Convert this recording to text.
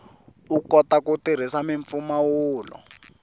u kota ku tirhisa mimpfumawulo